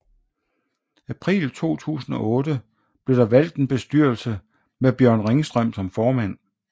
April 2008 blev der valgt en bestyrelse med Bjørn Ringstrøm som formand